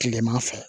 Kileman fɛ